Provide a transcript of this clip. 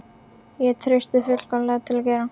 Ég treysti mér fullkomlega til að gera